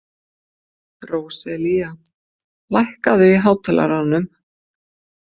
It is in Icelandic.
Róselía, lækkaðu í hátalaranum.